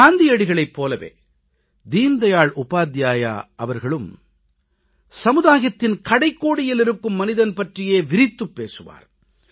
காந்தியடிகளைப் போலவே தீன் தயாள் உபாத்யாயா அவர்களும் சமுதாயத்தின் கடைக்கோடியில் இருக்கும் மனிதன் பற்றியே விரித்துப் பேசுவார்